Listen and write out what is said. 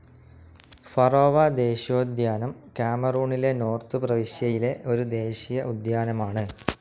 Faro ദേശീയോദ്യാനം കാമറൂണിലെ north പ്രവിശ്യയിലെ ഒരു ദേശീയ ഉദ്യാനമാണ്.